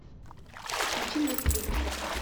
включи мне сдвиг